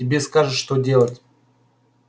тебе скажут что делать